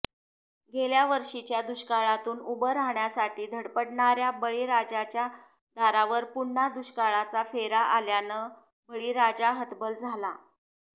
गेल्या वर्षीच्या दुष्काळातून उभं राहाण्यासाठी धडपडणाऱ्या बळीराजाच्या दारावर पुन्हा दुष्काळाचा फेरा आल्यानं बळीराजा हतबल झाला